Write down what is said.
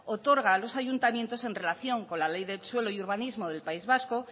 otorga a los ayuntamientos en relación con la ley de suelo y urbanismo del país vasco